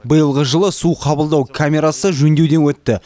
биылғы жылы су қабылдау камерасы жөндеуден өтті